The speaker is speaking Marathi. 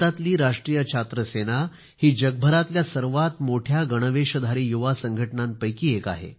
भारतातील राष्ट्रीय छात्र सेना हि जगभरातल्या सर्वात मोठ्या गणवेशधारी युवा संघटनांपैकी एक आहे